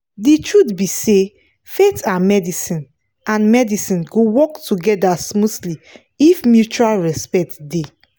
the truth be say faith and medicine and medicine go work together smoothly if mutual respect dey.